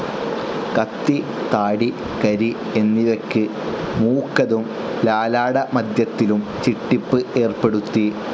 കത്തി, താടി, കരി എന്നിവയ്ക്ക് മൂക്കതും ലലാടമധ്യത്തിലും ചിട്ടിപ്പ് ഏർപ്പെടുത്തി.